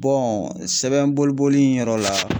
Bɔn sɛbɛn boliboli in yɔrɔ la